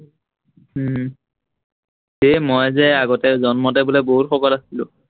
উম সেই মই যে আগতে জন্মতে বোলে বহুত শকত আছিলো।